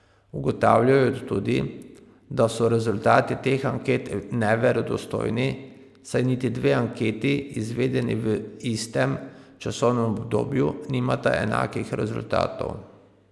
Ugotavljajo tudi, da so rezultati teh anket neverodostojni, saj niti dve anketi, izvedeni v istem časovnem obdobju, nimata enakih rezultatov.